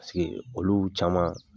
olu caman